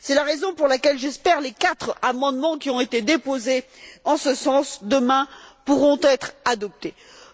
C'est la raison pour laquelle j'espère que les quatre amendements qui ont été déposés en ce sens pourront être adoptés demain.